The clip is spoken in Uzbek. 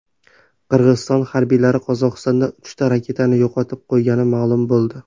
Qirg‘iziston harbiylari Qozog‘istonda uchta raketani yo‘qotib qo‘ygani ma’lum bo‘ldi.